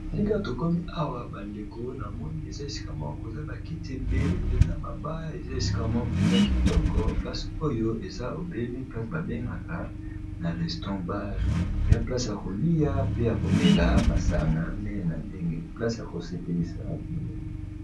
Sika tokomi awa bandeko na moni eza esika moko koza bakite ebele mpenza maba eza esika moko mpenza kitoko place oyo eza ebele place babengaka na reston bar ya place a kolia pe ya komela masanga ndene na ndenge place a kosepelisa.